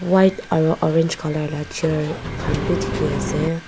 white aro orange colour la chair han bi dikhiase.